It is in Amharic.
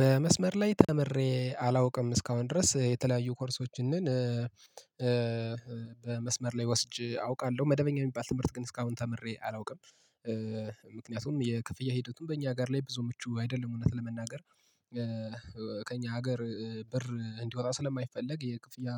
በመስመር ላይ ተምሬ አላውቅም እስካሁን ድረስ የተለያዩ ኮርሶችን ግን በመስመር ላይ ወስጄ አውቃለሁ መደበኛ የሚባል ትምህርት ግን እስካሁን ተምሬ አላውቅም። ምክንያቱም የክፍያ ሂደቱን በእኛ ጋር ላይ ብዙ ምቹ አይደለም እውነት ለመናገር። ከእኛ ሀገር ብር እንዲወጣ ስለማይፈለግ የክፍያ